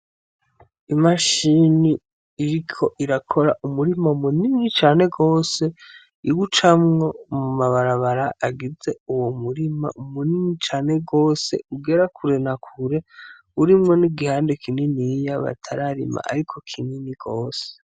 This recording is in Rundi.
Imashini iriko irakora umurima munini cane rwose iga ucamwo mu mabarabara agize uwo murima munininya cane rwose ugera kure nakure urimwo n'igihande kininiya batararima, ariko kinini rwose.